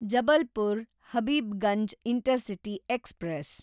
Jabalpur Habibganj intercity express